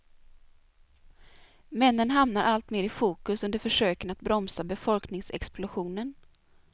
Männen hamnar allt mer i fokus under försöken att bromsa befolkningsexplosionen.